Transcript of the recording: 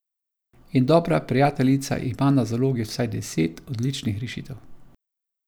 In dobra prijateljica ima na zalogi vsaj deset odličnih rešitev.